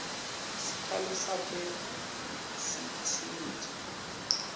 sikhalo sakho sitsintsa